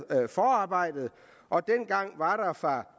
forarbejdet og dengang var der fra